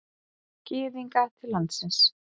Gyðinga til landsins.